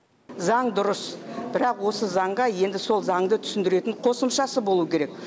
заң дұрыс бірақ осы заңға енді сол заңды түсіндіретін қосымшасы болу керек